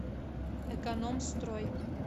экономстрой